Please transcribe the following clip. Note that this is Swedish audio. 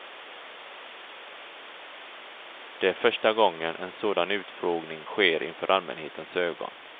Det är första gången en sådan utfrågning sker inför allmänhetens ögon.